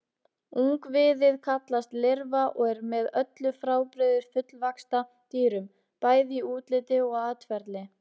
Ungviðið kallast lirfa og er með öllu frábrugðið fullvaxta dýrum, bæði í útliti og atferli.